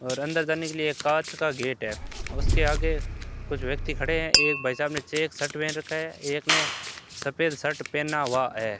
और अंदर जाने के लिए कांच का गेट है और उसके आगे कुछ व्यक्ति खड़े हैं एक भाई साहब में चेक शर्ट पहन रखा है एक ने सफेद शर्ट पहना हुआ है।